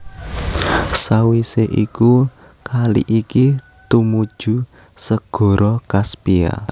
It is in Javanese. Sawisé iku kali iki tumuju Segara Kaspia